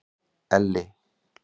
Elli